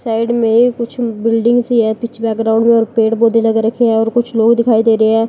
Side में कुछ building सी है पीछे बैकग्राउंड और पेड़-पौधे लगे रखे हैं और कुछ लोग दिखाई दे रहे हैं।